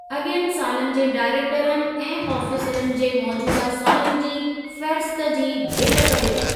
अॻियनि सालनि जे डायरेक्टरनि ऐं आफ़ीसरनि जे मोजूदह सालनि जी फ़ेहरिस्त जी भेट कर्यो।